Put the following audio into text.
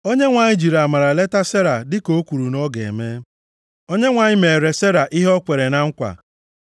Onyenwe anyị jiri amara leta Sera dịka o kwuru na ọ ga-eme. Onyenwe anyị meere Sera ihe o kwere na nkwa.